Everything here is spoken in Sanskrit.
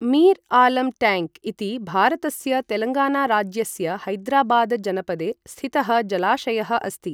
मीर आलम् टैङ्क् इति भारतस्य तेलङ्गाना राज्यस्य हैदराबाद जनपदे स्थितः जलाशयः अस्ति।